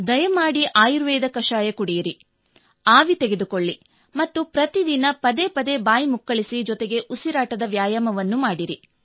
ದಯಮಾಡಿ ಆಯುರ್ವೇದ ಕಷಾಯ ಕುಡಿಯಿರಿ ಆವಿ ತೆಗೆದುಕೊಳ್ಳಿ ಮತ್ತು ಪ್ರತಿದಿನ ಪದೇ ಪದೇ ಬಾಯಿ ಮುಕ್ಕಳಿಸಿ ಜೊತೆಗೆ ಉಸಿರಾಟದ ವ್ಯಾಯಾವನ್ನೂ ಮಾಡಿರಿ